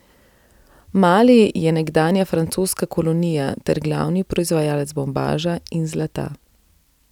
Mali je nekdanja francoska kolonija ter glavni proizvajalec bombaža in zlata.